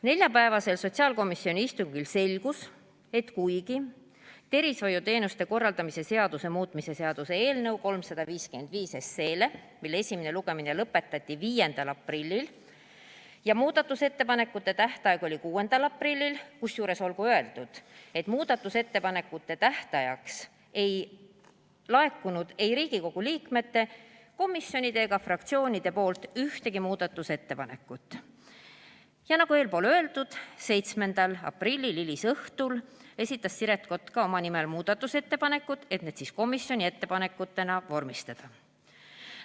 Neljapäevasel sotsiaalkomisjoni istungil selgus, et kuigi tervishoiuteenuste korraldamise seaduse muutmise seaduse eelnõu 355 esimene lugemine lõpetati 5. aprillil ja muudatusettepanekute tähtaeg oli 6. aprillil – kusjuures olgu öeldud, et muudatusettepanekute tähtajaks ei laekunud ei Riigikogu liikmetelt, komisjonidelt ega fraktsioonidelt ühtegi muudatusettepanekut –, siis, nagu eespool öeldud, 7. aprilli hilisõhtul esitas Siret Kotka oma nimel muudatusettepanekud, et need komisjoni ettepanekutena vormistada.